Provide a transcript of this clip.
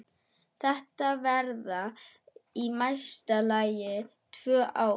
Þetta verða í mesta lagi tvö ár.